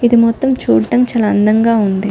ఇది మొత్తం చూడ్డం చాలా అందంగా ఉంది.